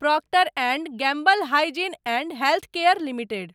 Procter and Gamble Hygiene and Health Care limited